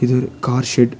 இது ஒரு car shed .